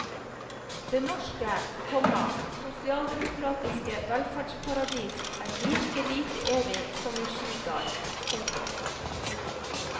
Det norske, komma sosialdemokratiske velferdsparadis er like lite evig som en skigard. punktum